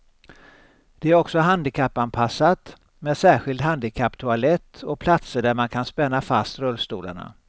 Det är också handikappanpassat med särskild handikapptoalett och platser där man kan spänna fast rullstolarna.